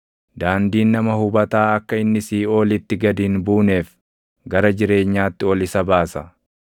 Daandiin nama hubataa akka inni siiʼoolitti gad hin buuneef gara jireenyaatti ol isa baasa.